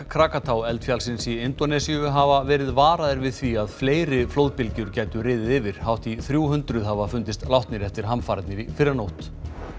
kraka tá eldfjallsins í Indónesíu hafa verið varaðir við því að fleiri flóðbylgjur gætu riðið yfir hátt í þrjú hundruð hafa fundist látnir eftir hamfarirnar í fyrrinótt